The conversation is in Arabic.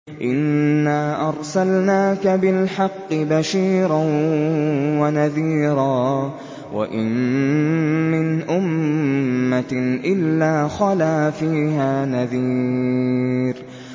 إِنَّا أَرْسَلْنَاكَ بِالْحَقِّ بَشِيرًا وَنَذِيرًا ۚ وَإِن مِّنْ أُمَّةٍ إِلَّا خَلَا فِيهَا نَذِيرٌ